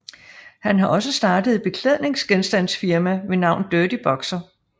Han har også startet et beklædningsgenstandsfirma ved navn Dirty Boxer